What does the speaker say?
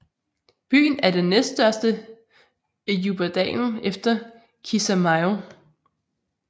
Byen er den næststørste i Jubbadalen efter Kismaayo